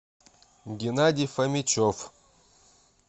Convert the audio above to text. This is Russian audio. геннадий фомичев